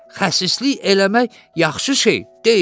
Xəsislik eləmək yaxşı şey deyil.